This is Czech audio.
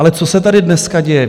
Ale co se tady dneska děje?